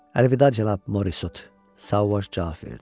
Əlvida cənab Morisot, Sauvaj cavab verdi.